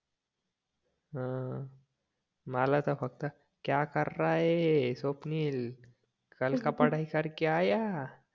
ह मला तर फक्त क्या कर रहा है स्वप्नील कल का पढाई करके आया